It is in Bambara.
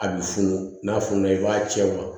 A bɛ funu n'a fununa i b'a cɛ wa